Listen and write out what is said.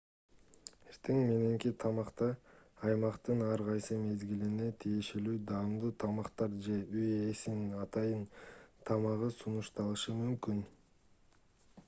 эртең мененки тамакта аймактын ар кайсы мезгилине тиешелүү даамдуу тамактар же үй ээсинин атайын тамагы сунушталышы мүмкүн